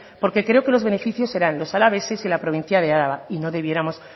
porque creo que los beneficiados serán los alaveses y la provincia de álava y o debiéramos